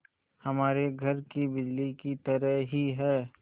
हमारे घर की बिजली की तरह ही है